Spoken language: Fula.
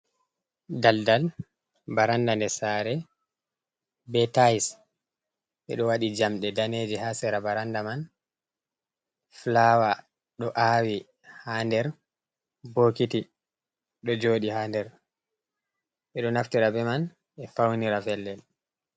Daldal baranda nder sare be tiles. Ɓe ɗo waɗi jamɗe daneeje ha sera baranda man. Flawa ɗo awi ha nder bokiti ɗo jooɗi ha nder, beɗo naftira be man ɓe faunira pellel.